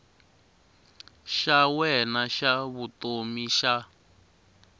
xa wena xa vutomi xa